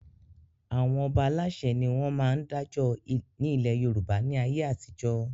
Àwọn Ọba Aláṣẹ ni wọn máa ń dájọ́ ni ilé Yorùbá ni ayé àtijọ́